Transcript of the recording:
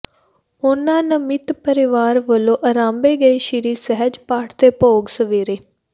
ਉਨ੍ਹਾਂ ਨਮਿੱਤ ਪਰਿਵਾਰ ਵੱਲੋਂ ਆਰੰਭੇ ਗਏ ਸ੍ਰੀ ਸਹਿਜ ਪਾਠ ਦੇ ਭੋਗ ਸਵੇਰੇ